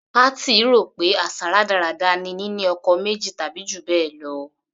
Kathy rò pé àṣà rádaràda ni nínú ọkọ méjì tàbí jù bẹ́ẹ̀ lọ.